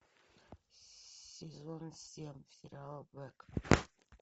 сезон семь сериал блэк